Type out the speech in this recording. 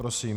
Prosím.